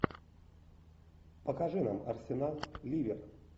покажи нам арсенал ливер